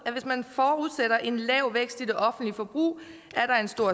at hvis man forudsætter en lav vækst i det offentlige forbrug er der en stor